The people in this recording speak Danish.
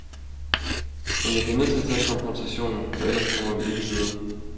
Men jeg bliver nødt til at tage konfrontationen, for ellers kommer vi ikke videre.